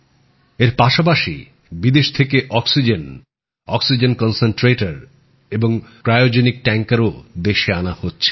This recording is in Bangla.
এর পাশাপাশি বিদেশ থেকে অক্সিজেন অক্সিজেন কন্সেন্ট্রেটর এবং ক্রায়োজনিক ট্যাঙ্কারও দেশে আনা হচ্ছে